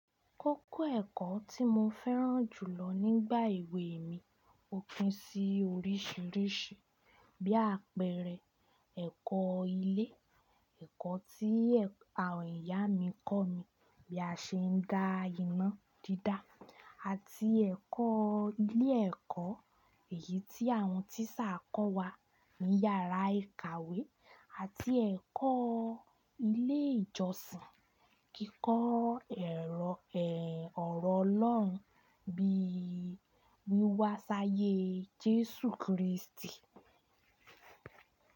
Kókó ẹ̀kọ́ tí mo fẹ́ràn jù lọ nígbà èwe mi ò pín sí oríṣìíríṣìí, bí àpẹẹrẹ ẹ̀kọ́ ilé, ẹ̀kọ́ tí àwọn ìyá mi kọ́ mi bí a ṣe ń dá iná dídá àti ẹ̀kọ́ ilé ẹ̀kọ́ èyí tí àwọn tíṣà kọ́ wa ní yàrá ìkàwé àti ẹ̀kọ́ ilé ìjọsìn, kíkọ́ orọ̀ Ọlọ́run bí wíwá sáyé Jésù Krístì.